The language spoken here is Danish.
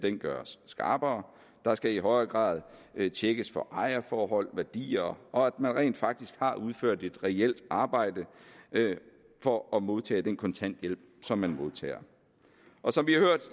gøres skarpere der skal i højere grad tjekkes for ejerforhold og værdier og at man rent faktisk har udført et reelt arbejde for at modtage den kontanthjælp som man modtager som